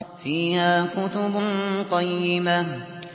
فِيهَا كُتُبٌ قَيِّمَةٌ